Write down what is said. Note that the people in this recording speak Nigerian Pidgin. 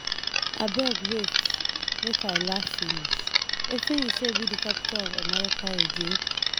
Abeg wait, make I Iaugh finish, wetin you say be the capital of America again?